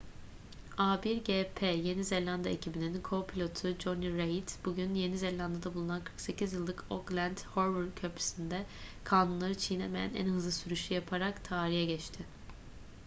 a1gp yeni zelanda ekibinin co-pilotu jonny reid bugün yeni zelanda'da bulunan 48 yıllık auckland harbour köprüsü'nde kanunları çiğnemeyen en hızlı sürüşü yaparak tarihe geçti